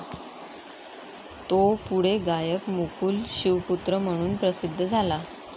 तो पुढे गायक मुकुल शिवपुत्र म्हणून प्रसिध्द झाला.